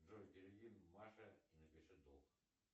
джой переведи маше и напиши долг